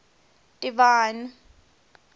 divine